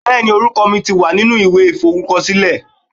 Bẹẹni, orúkọ mi ti wà nínú ìwé iforukosile.